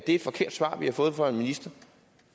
et forkert svar vi har fået fra en minister